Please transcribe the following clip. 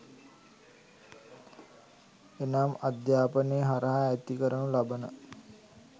එනම් අධ්‍යාපනය හරහා ඇති කරනු ලබන